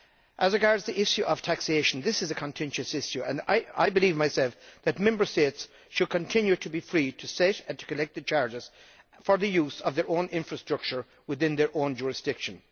As regards the issue of taxation this is a contentious issue, and I believe that Member States should continue to be free to set and collect the charges for the use of their own infrastructure within their own jurisdiction.